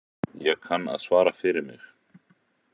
Ég kann að svara fyrir mig.